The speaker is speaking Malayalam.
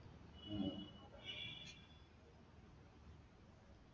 ഉം